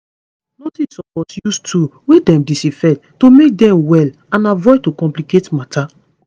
nurses suppose use tool wey dem disinfect to make dem well and avoid to complicate matter